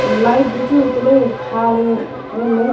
lai buu chu taley phale ngan ley